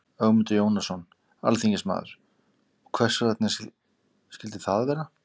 Ögmundur Jónasson, alþingismaður: Og hvers vegna skildi það vera?